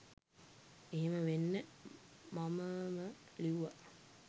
එහෙම වෙන්න මමම ලිව්වා